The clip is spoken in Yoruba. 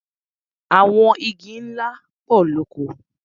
Àwọn igi ńlá pọ̀ lóko.